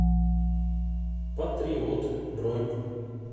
патриот бронь